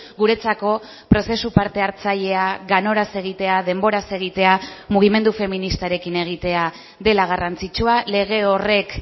guretzako prozesu parte hartzailea ganoraz egitea denboraz egitea mugimendu feministarekin egitea dela garrantzitsua lege horrek